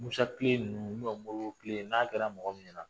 Musatile ninnu Modibotile n'a kɛra mɔgɔ min ɲɛna